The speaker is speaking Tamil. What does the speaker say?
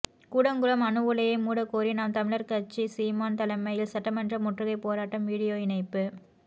கூடங்குளம் அணு உலையை மூடக்கோரி நாம் தமிழர் கட்சி சீமான் தலைமையில் சட்டமன்ற முற்றுகை போராட்டம் வீடியோ இணைப்பு